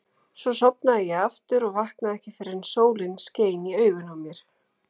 Svo sofnaði ég aftur og vaknaði ekki fyrr en sólin skein í augun á mér.